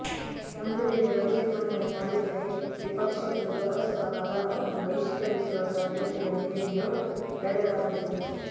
ಒಂದು ವೇಳೆ ಬಜೆಟ್ ಮಂಡನೆ ಮಾಡಿದರೆ ವಿಪಕ್ಷಗಳು ಲೋಕಸಭಾ ಕಲಾಪವನ್ನು ಬಹಿಷ್ಕರಿಸುವ ಸಾಧ್ಯತೆಗಳು ಇವೆ ಎಂದು ಹೇಳಲಾಗುತ್ತಿದೆ